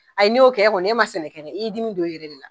Ayi, n'yo kɛ kɔni , e ma sɛnɛ kɛ, i ye dimi don i yɛrɛ de la!